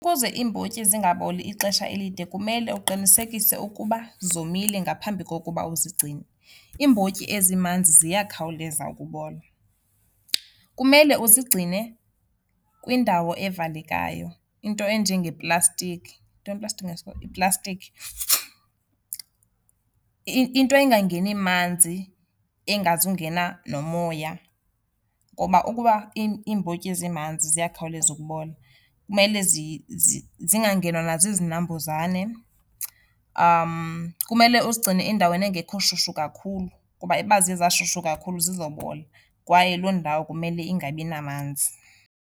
Ukuze iimbotyi zingaboli ixesha elide kumele uqinisekise ukuba zomile ngaphambi kokuba uzigcine. Iimbotyi ezimanzi ziyakhawuleza ukubola. Kumele uzigcine kwindawo evalekayo, into enje ngeplastikhi. Yintoni iplastikhi ngesiXhosa? Yiplastikhi. Into ingangeni manzi, engazungena nomoya ngoba ukuba iimbotyi zimanzi ziyakhawuleza ukubola. Kumele zingangenwa nazizinambuzane. Kumele uzigcine endaweni engekhoshushu kakhulu kuba uba ziye zashushu kakhulu zizobola kwaye loo ndawo kumele ingabi namanzi.